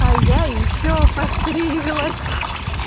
а я ещё постриглась